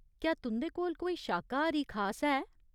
क्या तुं'दे कोल कोई शाकाहारी खास है ?